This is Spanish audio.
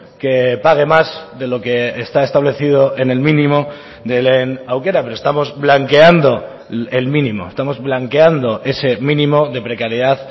que pague más de lo que está establecido en el mínimo de lehen aukera pero estamos blanqueando el mínimo estamos blanqueando ese mínimo de precariedad